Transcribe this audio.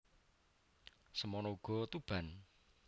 Semana uga Tuban